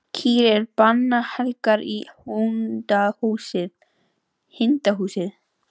Kýr eru bannhelgar í hindúasið.